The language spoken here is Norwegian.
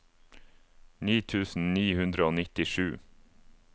ni tusen ni hundre og nittisju